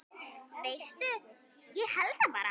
Veistu, ég held það bara.